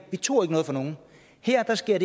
vi tog ikke noget fra nogen her sker